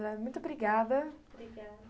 Muito obrigada, brigada.